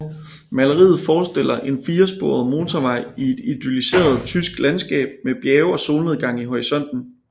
Maleriet forestiller en firesporet motorvej i et idylliseret tysk landskab med bjerge og solnedgang i horisonten